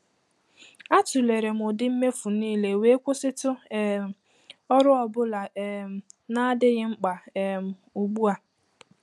A tụlere m ụdị mmefu niile wee kwụsịtụ um ọrụ ọ bụla um na-adịghị mkpa um ugbu a.